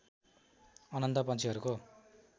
अनन्त पन्छीहरूको